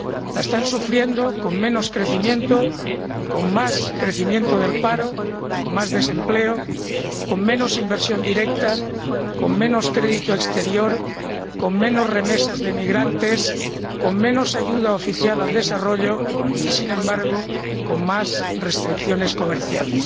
La están sufriendo con menos crecimiento, con más crecimiento del paro, con más desempleo, con menos inversión directa, con menos crédito exterior, con menos remesas de emigrantes, con menos ayuda oficial al desarrollo y, sin embargo, con más restricciones comerciales.